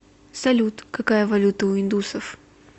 салют какая валюта у индусов